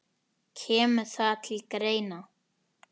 Kemur það til greina?